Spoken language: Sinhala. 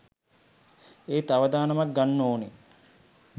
ඒත් අවදානමක් ගන්න ඕනේ